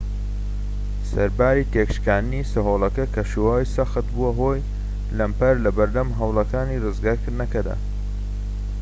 سەرباری تێكشکاندنی سەهۆڵەکە کەشوهەوای سەخت بووە هۆی لەمپەر لەبەردەم هەوڵەکانی ڕزگارکردنەکەدا